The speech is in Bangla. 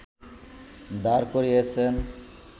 দাঁড় করিয়েছেন